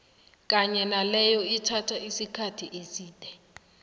kanye naleyo ethatha isikkathi eside